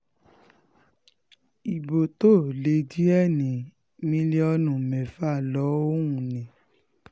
ibo tó lé díẹ̀ ní mílíọ̀nù mẹ́fà lòún ní